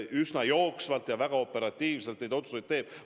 Üsna jooksvalt ja väga operatiivselt neid otsuseid tehakse.